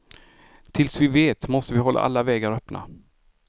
Tills vi vet måste vi hålla alla vägar öppna.